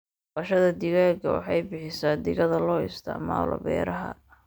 Dhaqashada digaaga waxay bixisaa digada loo isticmaalo beeraha.